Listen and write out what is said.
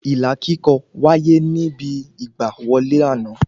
Ilà kíkọ wáyé níbi ìgbà wọlé àná